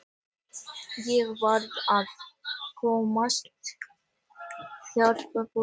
Ég varð að komast burt þótt ekki væri nema í huganum.